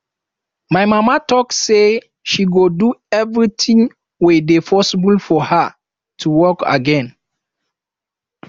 my mama talk say she go do everything wey dey possible for her to walk again